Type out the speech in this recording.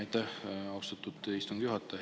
Aitäh, austatud istungi juhataja!